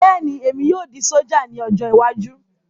Bẹ́ẹ̀ni, èmi yóò di sójà ní ọjọ́ iwájú